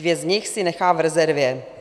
Dvě z nich si nechá v rezervě."